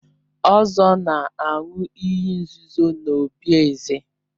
Ozor na-aṅụ iyi nzuzo n'obí eze.